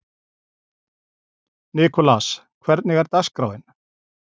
Nikolas, hvernig er dagskráin?